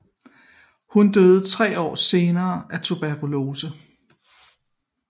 Hun døde tre år senere af tuberkulose